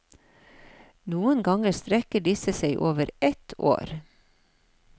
Noen ganger strekker disse seg over ett år.